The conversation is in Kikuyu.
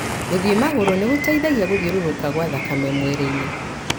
gũthiĩ magũrũ nĩ gũteithagia gũthiũrũrũka kwa thakame mwĩrĩinĩ.